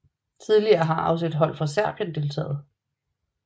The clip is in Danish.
Tidligere har også hold fra Serbien deltaget